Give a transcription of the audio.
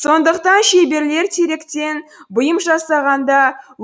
сондықтан шеберлер теректен бұйым жасағанда